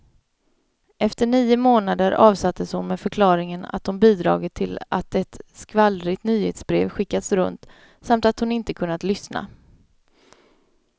Efter nio månader avsattes hon med förklaringen att hon bidragit till att ett skvallrigt nyhetsbrev skickats runt, samt att hon inte kunnat lyssna.